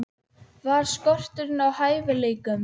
Var skortur á hæfileikum?